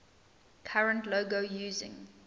current logo using